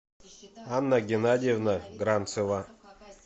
анна геннадьевна гранцева